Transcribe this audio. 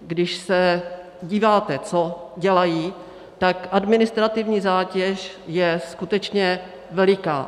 když se díváte, co dělají, tak administrativní zátěž je skutečně veliká.